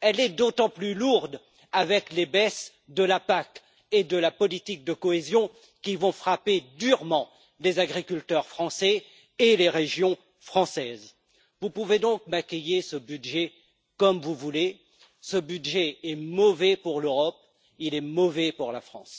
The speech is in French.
Elle est d'autant plus lourde que des baisses des subventions sont prévues au niveau de la PAC et de la politique de cohésion, qui vont frapper durement les agriculteurs français et les régions françaises. Vous pouvez donc maquiller ce budget comme vous voulez, ce budget est mauvais pour l'Europe, il est mauvais pour la France.